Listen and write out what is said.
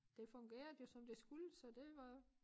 Det fungerede jo som det skulle så det var